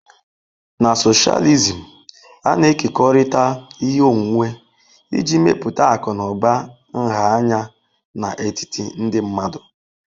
Na socialism, a na-ekekọrịta ihe onwunwe iji mepụta akụ na ụba nha anya n'etiti ndị mmadụ.